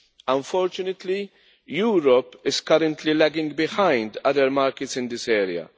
Unfortunately, Europe is currently lagging behind other markets in this area.